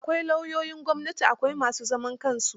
Kawai lauyoyin gwamnati, akwai ma su zaman kansu.